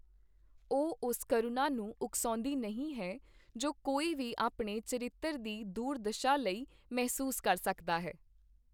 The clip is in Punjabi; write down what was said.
ਉਹ, ਉਸ ਕਰੂਣਾ ਨੂੰ ਉਕਸਾਉਂਦੀ ਨਹੀਂ ਹੈ ਜੋ ਕੋਈ ਵੀ ਆਪਣੇ ਚਰਿੱਤਰ ਦੀ ਦੁਰਦਸ਼ਾ ਲਈ ਮਹਿਸੂਸ ਕਰ ਸਕਦਾ ਹੈ।